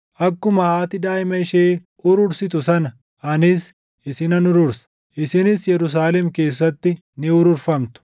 Akkuma haati daaʼima ishee urursitu sana, anis isinan urursa; isinis Yerusaalem keessatti ni ururfamtu.”